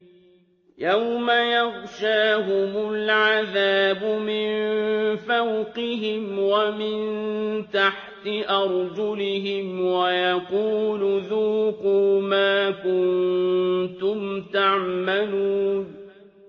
يَوْمَ يَغْشَاهُمُ الْعَذَابُ مِن فَوْقِهِمْ وَمِن تَحْتِ أَرْجُلِهِمْ وَيَقُولُ ذُوقُوا مَا كُنتُمْ تَعْمَلُونَ